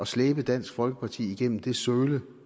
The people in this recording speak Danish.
slæbe dansk folkeparti igennem det søle